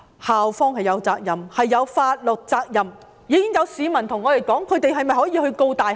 校方是有法律責任的，已經有市民問我們是否可以控告大學。